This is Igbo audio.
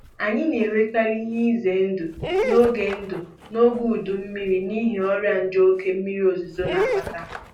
A na-enwekarị ihe ize ndụ n'oge ndụ n'oge udu mmiri n'ihi ọrịa nje oke mmiri ozuzo na-akpata